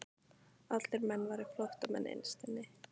Allir menn væru flóttamenn innst inni.